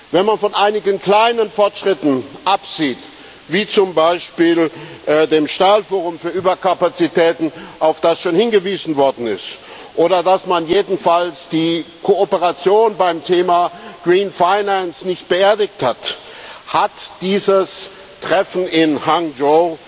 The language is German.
Wenn man von einigen kleinen Fortschritten absieht, wie zum Beispiel dem Stahlforum für Überkapazitäten, auf das schon hingewiesen worden ist, oder dass man jedenfalls die Kooperation beim Thema Green Finance nicht beerdigt hat, hat dieses Treffen in Hangzhou